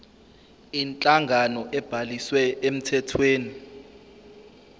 inhlangano ebhaliswe emthethweni